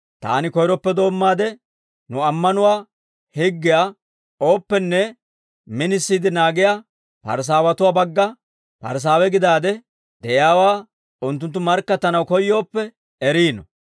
Taani koyroppe doommaade, nu ammanuwaa higgiyaa ooppenne minisiide naagiyaa Parisaawatuwaa bagga Parisaawe gidaade de'iyaawaa, unttunttu markkattanaw koyyooppe eriino.